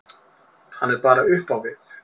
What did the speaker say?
Hann er bara upp á við.